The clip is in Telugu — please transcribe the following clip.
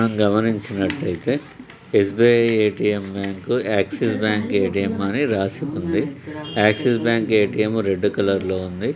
మనం గమనించినట్లయితే SBI ATM bank Axis bank ATM అని రాసి ఉంది Axis bank ATM red colour లో ఉంది.